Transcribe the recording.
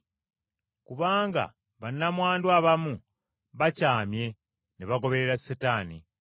Kubanga bannamwandu abamu bakyamye ne bagoberera Setaani.